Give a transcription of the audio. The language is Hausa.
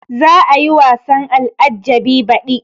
Za a yi wasan al-ajjabi baɗi